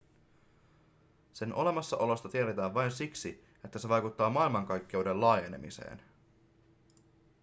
sen olemassaolosta tiedetään vain siksi että se vaikuttaa maailmankaikkeuden laajenemiseen